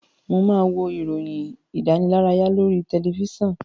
Mo máa wo ìròyìn ìdánilárayá lórí tẹlifíṣàn.